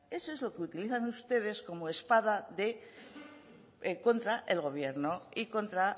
eso es lo que utilizan ustedes como espada contra el gobierno y contra